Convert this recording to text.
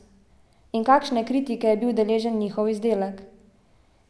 In kakšne kritike je bil deležen njihov izdelek?